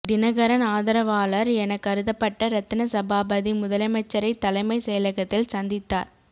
தினகரன் ஆதரவாளர் என கருதப்பட்ட ரத்தினசபாபதி முதலமைச்சரை தலைமை செயலகத்தில் சந்தித்தார்